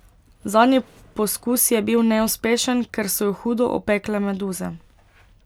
Zadnji poskus je bil neuspešen, ker so jo hudo opekle meduze.